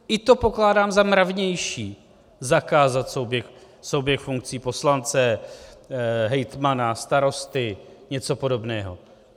I to pokládám za mravnější, zakázat souběh funkcí poslance, hejtmana, starosty, něco podobného.